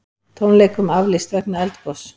Tónleikum aflýst vegna eldgoss